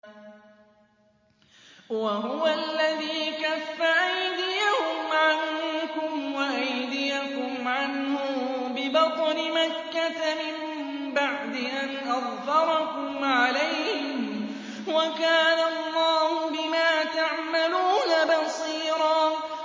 وَهُوَ الَّذِي كَفَّ أَيْدِيَهُمْ عَنكُمْ وَأَيْدِيَكُمْ عَنْهُم بِبَطْنِ مَكَّةَ مِن بَعْدِ أَنْ أَظْفَرَكُمْ عَلَيْهِمْ ۚ وَكَانَ اللَّهُ بِمَا تَعْمَلُونَ بَصِيرًا